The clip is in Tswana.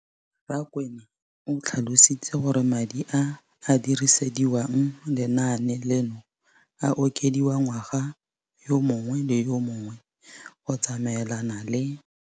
Rakwena o tlhalositse gore madi a a dirisediwang lenaane leno a okediwa ngwaga yo mongwe le yo mongwe go tsamaelana le.